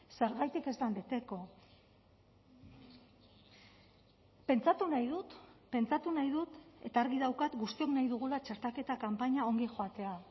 zergatik ez den beteko pentsatu nahi dut pentsatu nahi dut eta argi daukat guztiok nahi dugula txertaketa kanpaina ongi joatea